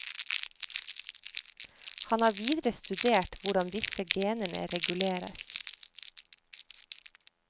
Han har videre studert hvordan disse genene reguleres.